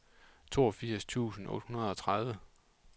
toogfirs tusind otte hundrede og tredive